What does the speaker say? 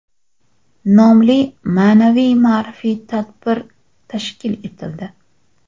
nomli ma’naviy-ma’rifiy tadbir tashkil etildi.